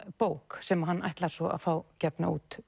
bók sem hann ætlar svo að fá gefna út